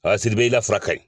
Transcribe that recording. Aa Sidibe i la fura ka ɲi.